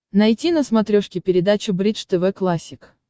найти на смотрешке передачу бридж тв классик